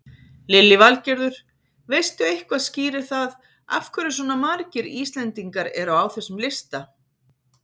Lillý Valgerður: Veistu eitthvað skýrir það af hverju svona margir Íslendingar eru á þessum lista?